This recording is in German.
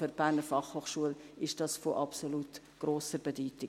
Für die BFH ist dies von absolut grosser Bedeutung.